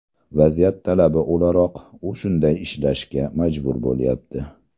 Vaziyat talabi o‘laroq u shunday ishlashga majbur bo‘lyapti.